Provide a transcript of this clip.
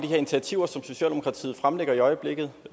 initiativer som socialdemokratiet fremlægger i øjeblikket